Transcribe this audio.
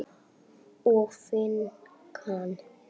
og finkan?